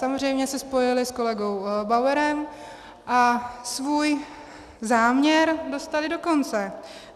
Samozřejmě se spojili s kolegou Bauerem a svůj záměr dostali do konce.